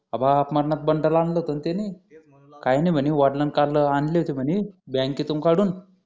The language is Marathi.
अबाप मरणाच बंडल आणलं होतं ना त्याने काय नाही म्हणे वडिलांनी काल आणले होते म्हणे बँकेतून काढून